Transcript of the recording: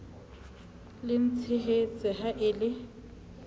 le ntshehetse ha e le